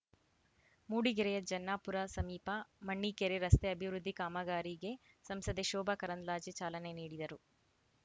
ಮೂಡಿಗೆರೆಯ ಜನ್ನಾಪುರ ಸಮೀಪ ಮಣ್ಣೀಕೆರೆ ರಸ್ತೆ ಅಭಿವೃದ್ಧಿ ಕಾಮಗಾರಿಗೆ ಸಂಸದೆ ಶೋಭಾ ಕರಂದ್ಲಾಜೆ ಚಾಲನೆ ನೀಡಿದರು